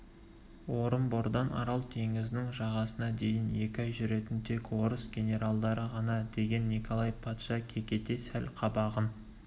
орынбордан арал теңізінің жағасына дейін екі ай жүретін тек орыс генералдары ғана деген николай патша кекете сәл қабағын